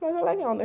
Mas é legal, né?